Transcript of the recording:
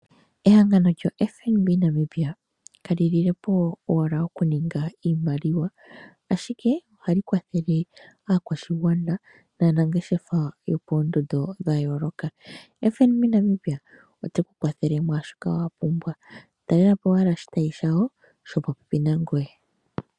FNB Namibia, ka lilepo owala oku ninga iimaliwa, ashike ohali kwathele aakwashigwana na nangeshefa yo poondondo dha yooloka. FNB Namibia ota kwathele mwaa shoka wa pumbwa. Ta lelapo owala oshitayi shawo shili po pepi nangoye.